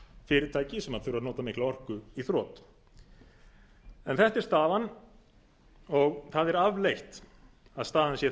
fyrirtæki sem þurfa að nota mikla orku í þrot en þetta er staðan það er afleitt að staðan sé